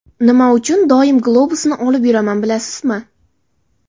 Nima uchun doim globusni olib yuraman, bilasizmi?